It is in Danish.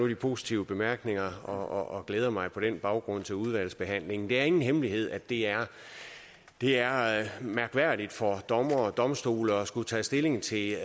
de positive bemærkninger og glæder mig på den baggrund til udvalgsbehandlingen det er ingen hemmelighed at det er er mærkværdigt for dommere og domstole at skulle tage stilling til